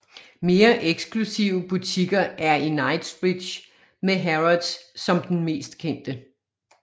Mere eksklusive butikker er i Knightsbridge med Harrods som den mest kendte